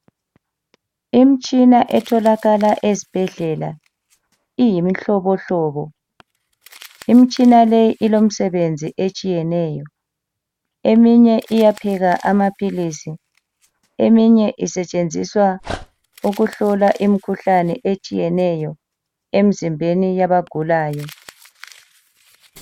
Imitshina etholakala ezibhedlela iyi mihlobohlobo. lmitshina leyi ilomsebenzi etshiyeneyo. Eminye iyapheka amapilisi. Eminye isetshenziswa ukuhlola imikhuhlane etshiyeneyo emzimbeni yabagulayo.